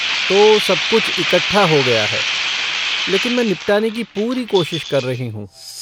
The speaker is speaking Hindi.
तो सब कुछ इकट्ठा हो गया है, लेकिन मैं निपटाने की पूरी कोशिश कर रही हूँ।